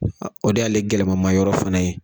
O de y'ale gɛlɛyamamayɔrɔ fana ye